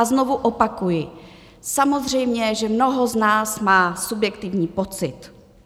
A znovu opakuji, samozřejmě že mnoho z nás má subjektivní pocit.